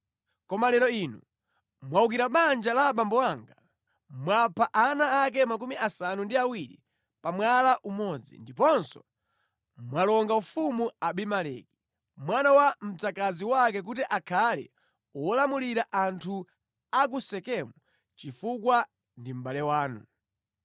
Koma lero inu mwawukira banja la abambo anga. Mwapha ana ake 70 pa mwala umodzi, ndiponso mwalonga ufumu Abimeleki, mwana wa mdzakazi wake kuti akhale wolamulira anthu a ku Sekemu chifukwa ndi mʼbale wanu.